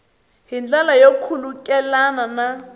hi ndlela yo khulukelana na